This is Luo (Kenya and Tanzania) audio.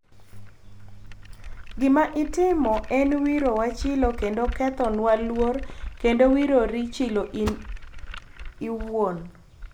Gima itimo en wiro wa chilo kendo ketho nwa luor endo wiro ri chilo en owuon